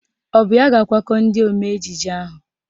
Ọ bụ ya ga-akwakọ ndị omee ejije ahụ?